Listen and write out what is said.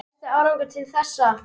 Besti árangur til þessa?